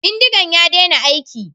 Bindigan ya dena aiki